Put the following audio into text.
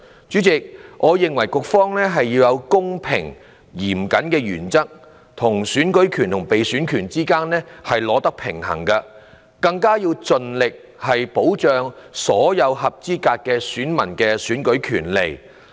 主席，我認為局方要在"公平、嚴謹"的原則與選舉權和被選權之間取得平衡，要盡力保障所有合資格選民的選舉權利。